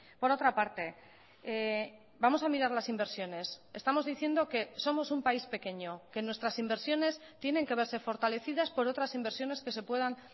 por otra parte vamos a mirar las inversiones estamos diciendo que somos un país pequeño que nuestras inversiones tienen que verse fortalecidas por otras inversiones que se puedan